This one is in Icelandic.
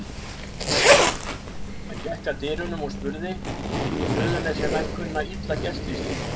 Hann gekk að dyrunum og spurði:-Suðurnesjamenn kunna illa gestrisni.